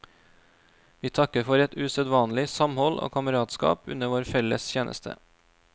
Vi takker for et usedvanlig samhold og kameratskap under vår felles tjeneste.